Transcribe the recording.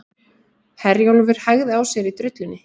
Herjólfur hægði á sér í drullunni